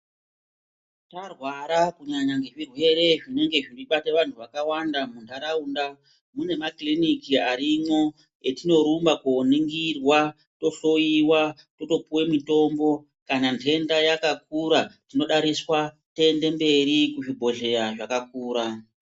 Marwara kunyanya ngezvirwere zvinenge zvichibata vanhu vakawanda munharaunda, mune makiriniki arimwo etinorumba koningirwa, tohloyiwa totopiwa mitombo, kana nhenda yakakura tinodariswa toenda mberi kuzvibhedhleya zvakakura.